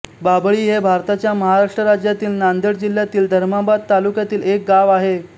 बाभळी हे भारताच्या महाराष्ट्र राज्यातील नांदेड जिल्ह्यातील धर्माबाद तालुक्यातील एक गाव आहे